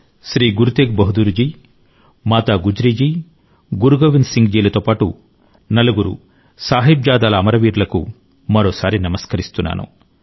శ్రీ గురు తేగ్ బహదూర్ జీ మాతా గుజ్రీ జీ గురు గోవింద్ సింగ్ జీలతో పాటు నలుగురు సాహిబ్జాదాల అమరవీరులకు మరోసారి నమస్కరిస్తున్నాను